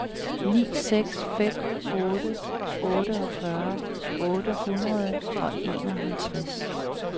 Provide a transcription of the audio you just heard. ni seks fem otte otteogfyrre otte hundrede og enoghalvtreds